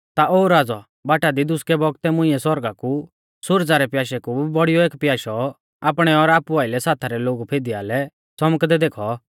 ता ओ राज़ौ बाटा दी दुसकै बौगतै मुंइऐ सौरगा कु सुरजा रै प्याशै कु भी बौड़ियौ एक प्याशौ आपणै और आपु आइलै साथा रै लोगु फिदीआलै च़मकदै देखौ